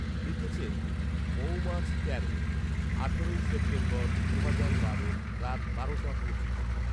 লিখেছেন মৌমাছ তেরো, আঠারোই সেপ্টেম্বর, দুহাজার বারো রাত বারোটা পঁচিশ